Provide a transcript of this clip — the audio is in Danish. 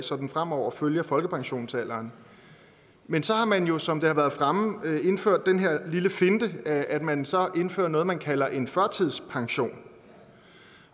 så den fremover følger folkepensionsalderen man så har man jo som det har været fremme indført den her lille finte at man så indfører noget man kalder en førtidspension